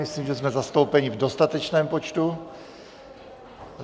Myslím, že jsme zastoupeni v dostatečném počtu.